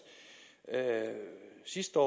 sidste år